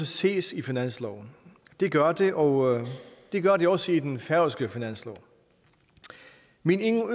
ses i finansloven det gør det og det gør det også i den færøske finanslov min